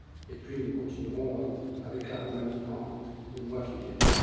Puis, nous continuerons avec la Roumanie dans les mois qui viennent.